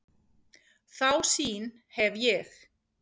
Þá sýn hef ég.